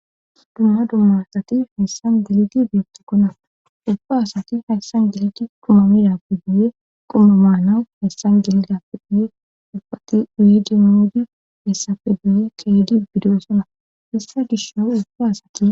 dumma dumma asati hessan gelidi beetikkona ubfa asati hayssan geledi quma midape guye quma maanawu hassan gelidappe guye ubati uyidi miidi hessafe guye keedi bidoosona issa gishow ubba asati